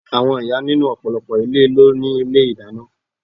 Àwọn ìyá nínú ọ̀pọ̀lọpọ̀ ilé ló ni ilé ìdáná.